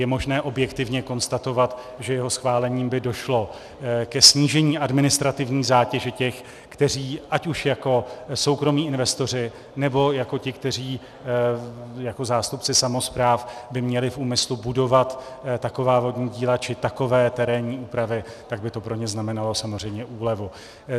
Je možné objektivně konstatovat, že jeho schválením by došlo ke snížení administrativní zátěže těch, kteří, ať už jako soukromí investoři, nebo jako ti, kteří jako zástupci samospráv by měli v úmyslu budovat taková vodní díla či takové terénní úpravy, tak by to pro ně znamenalo samozřejmě úlevu.